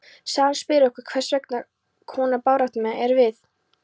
Sagan spyr okkur: hvers konar baráttumenn erum við?